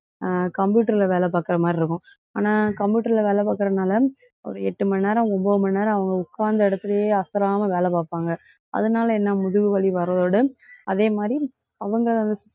அஹ் computer ல வேலை பாக்குற மாதிரி இருக்கும். ஆனா computer ல வேலை பாக்குறதுனால ஒரு எட்டு மணி நேரம், ஒன்பது மணி நேரம் அவங்க உட்கார்ந்தா இடத்திலயே அசராம வேலை பார்ப்பாங்க. அதனால என்ன? முதுகு வலி வர்றதோட அதே மாதிரி, அவங்க